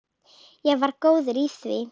Ég var góð í því.